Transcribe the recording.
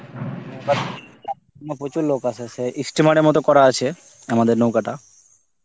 প্রচুর লোক আসে, সে ই steamer এর মতন করা আছে আমাদের নৌকাটা.